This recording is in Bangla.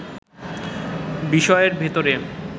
বিষয়ের ভেতরে